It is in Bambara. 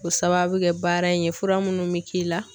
K'o sababu kɛ baara in ye fura munnu bɛ k'i la.